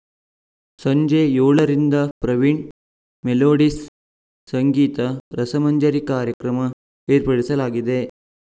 ಸಂಜೆ ಏಳರಿಂದ ಪ್ರವೀಣ್‌ ಮೆಲೋಡಿಸ್‌ ಸಂಗೀತ ರಸಮಂಜರಿ ಕಾರ್ಯಕ್ರಮ ಏರ್ಪಡಿಸಲಾಗಿದೆ